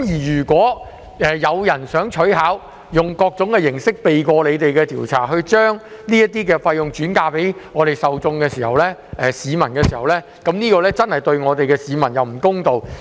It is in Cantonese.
如果有公司想取巧，用各種形式避過調查，將這些費用轉嫁給受眾，這樣對市民真的不公道。